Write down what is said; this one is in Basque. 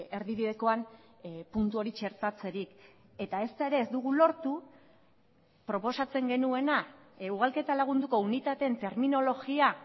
erdibidekoan puntu hori txertatzerik eta ezta ere ez dugu lortu proposatzen genuena ugalketa lagunduko unitateen terminologia